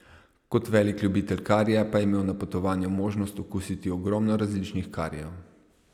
Kot velik ljubitelj karija pa je imel na potovanju možnost okusiti ogromno različnih karijev.